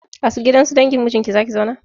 A gidan su dangin mijinki za ki zauna?